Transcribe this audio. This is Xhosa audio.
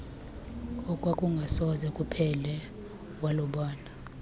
okwakungasoze kuphele walubona